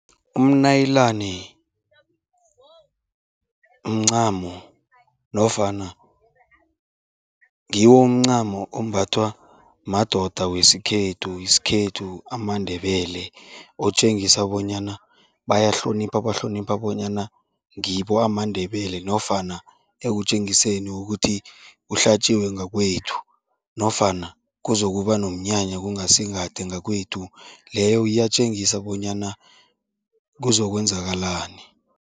Umnayilani mncamo nofana ngiwo umncamo ombathwa madoda wesikhethu, isikhethu amaNdebele, otjengisa bonyana bayahlonipha, bahlonipha bonyana ngibo amaNdebele nofana ekutjengiseni kukuthi kuhlatjiwe ngakwethu nofana kuzokuba nomnyanya kungasi kade ngakwethu, leyo iyatjengisa bonyana kuzokwenzakalani.